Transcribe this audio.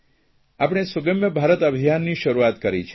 આપણે સુગમ્ય ભારત અભિયાનની શરૂઆત કરી છે